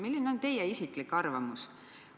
Milline on teie isiklik arvamus?